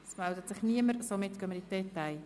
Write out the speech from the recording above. – Es meldet sich niemand zu Wort.